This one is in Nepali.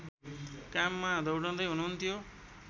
काममा दौडँदै हुनुहुन्थ्यो